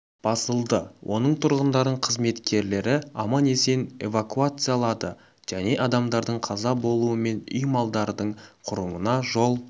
басылды оның тұрғындарын қызметкерлері аман-есен эвакуациялады және адамдардың қаза болу мен үй малдардың құруына жол